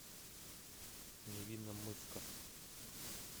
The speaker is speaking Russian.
невинномысска